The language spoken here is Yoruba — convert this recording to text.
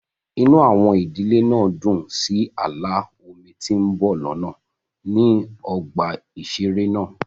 Inú àwọn ìdílé náà dùn sí ààlà omi tí ń bọ̀ lọ́nà ní ọgbà ìṣeré náà